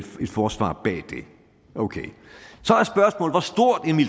forsvar bag det okay